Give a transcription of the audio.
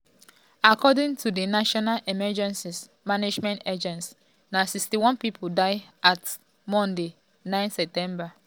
according to di national emergency management agency (nasema) na 61 pipo die as at monday 9 september.